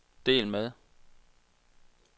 del med